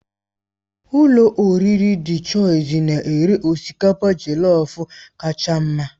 Ụlọ oriri Dị Chọisi na-ere osikapa jelọf kacha mma.